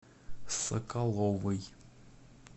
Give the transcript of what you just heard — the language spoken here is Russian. соколовой